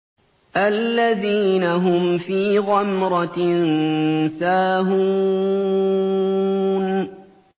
الَّذِينَ هُمْ فِي غَمْرَةٍ سَاهُونَ